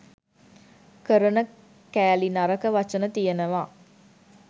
කරන කෑලි නරක වචන තියෙනවා